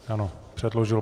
Ano, předložil.